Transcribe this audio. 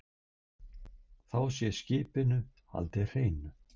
Þá sé skipinu haldið hreinu